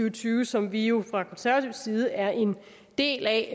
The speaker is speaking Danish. og tyve som vi jo fra konservativ side er en del af